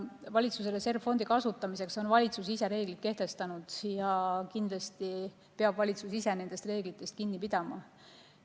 Valitsuse reservfondi kasutamiseks on valitsus ise reeglid kehtestanud ja kindlasti peab valitsus ise nendest reeglitest kinni pidama.